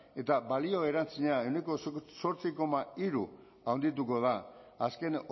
eta balio erantsia ehuneko zortzi koma hiru handituko da azken